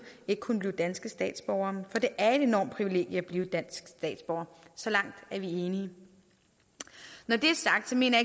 ikke kunne blive danske statsborgere for det er et enormt privilegium at blive dansk statsborger så langt er vi enige når det er sagt mener